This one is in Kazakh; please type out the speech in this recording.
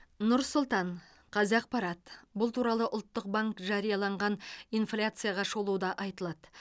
нұр сұлтан қазақпарат бұл туралы ұлттық банк жарияланған инфляцияға шолуда айтылады